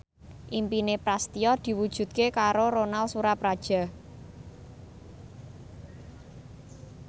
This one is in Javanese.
impine Prasetyo diwujudke karo Ronal Surapradja